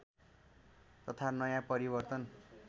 तथा नयाँ परिवर्तन